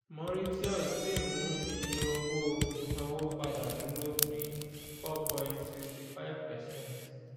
mauritius si mu iye owó ìsanwó padà duro ni four point sixty five percent